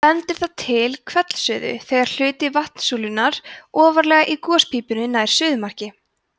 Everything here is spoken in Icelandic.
bendir það til hvellsuðu þegar hluti vatnssúlunnar ofarlega í gospípunni nær suðumarki